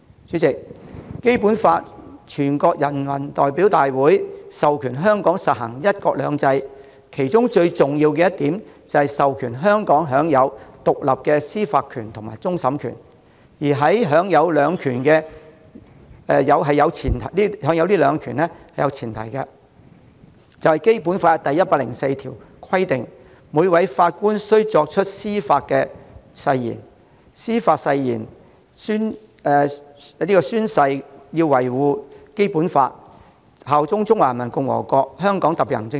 主席，全國人民代表大會制定的《基本法》，規定香港實行"一國兩制"，最重要的是，香港享有獨立的司法權和終審權，而享有這兩種權力的前提是，根據《基本法》第一百零四條，每位法官須依法宣誓維護《基本法》，效忠中華人民共和國香港特別行政區。